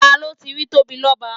Ta ló ti rí Tóbilọ́ba?